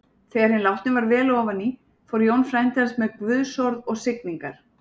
Þegar hinn látni var vel ofan í fór Jón frændi hans með guðsorð og signingar.